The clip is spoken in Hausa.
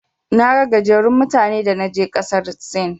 Naga gajerun mutane da naje ƙasar Sin.